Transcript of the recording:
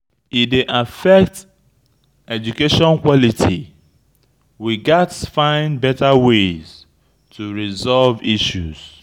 E dey affect education quality; we gats find better ways to resolve issues.